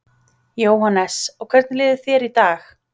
Jóhannes: Og hvernig líður þér í dag?